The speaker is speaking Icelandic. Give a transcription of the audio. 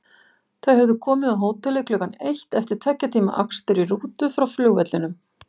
Þau höfðu komið á hótelið klukkan eitt eftir tveggja tíma akstur í rútu frá flugvellinum.